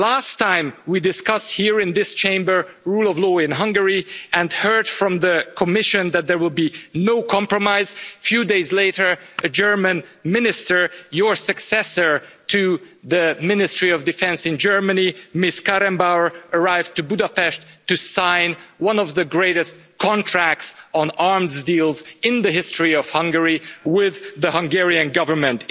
Last time we discussed here in this Chamber rule of law in Hungary and heard from the Commission that there will be no compromise, a few days later a German Minister, your successor to the Ministry of Defence in Germany, Ms Kramp Karrenbauer arrived in Budapest to sign one of the greatest contracts on arms deals in the history of Hungary with the Hungarian Government.